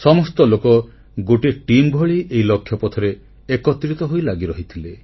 ସମସ୍ତ ଲୋକ ଗୋଟିଏ ଟିମ୍ ଭଳି ଏହି ଲକ୍ଷ୍ୟପଥରେ ଏକତ୍ରିତ ହୋଇ ଲାଗିରହିଥିଲେ